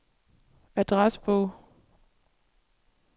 adressebog